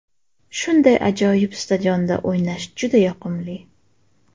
Shunday ajoyib stadionda o‘ynash juda yoqimli.